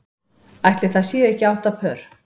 Ætli það séu ekki átta pör.